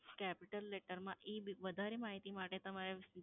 capital letter માં ઈબીલ, વધારે માહિતી માટે તમારે